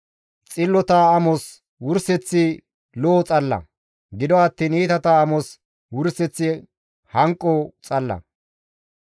Xillota amos wurseththi lo7o xalla; gido attiin iitata amos wurseththi hanqo xalla.